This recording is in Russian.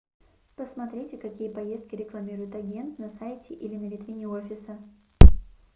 посмотрите какие поездки рекламирует агент на сайте или на витрине офиса